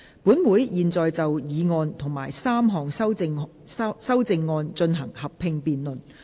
本會現在就議案及3項修正案進行合併辯論。